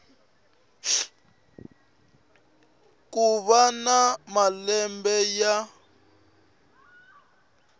ku va na malembe ya